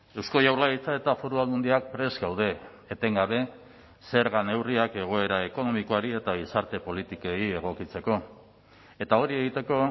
eusko jaurlaritza eta foru aldundiak prest gaude etengabe zerga neurriak egoera ekonomikoari eta gizarte politikei egokitzeko eta hori egiteko